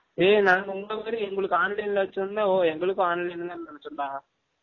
ஏய் நாங்க உங்கல மாரி எங்கலுக்கும் online ல வச்சு இருந்தா, ஒ எங்கலுக்கும் online தான் நினைசோம் டா